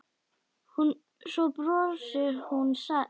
Svo brosir hún alsæl.